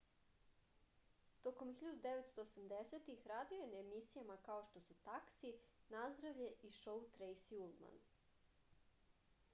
tokom 1980-ih radio je na emisijama kao što su taksi nazdravlje i šou trejsi ulman